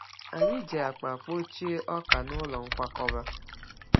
Anyị ji akpa kpọchie ọka n’ụlọ nkwakọba.